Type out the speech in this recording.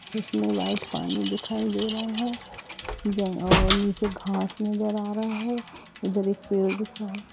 बहुत पानी दिखाई दे रहा है और नीचे घास नज़र आ रहा है। इधर एक पेड़ दिखाई --